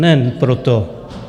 Nejen proto.